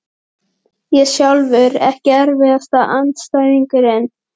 Ég sjálfur EKKI erfiðasti andstæðingur?